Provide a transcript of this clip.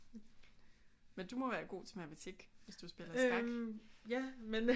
Men du må være god til matematik hvis du spiller skak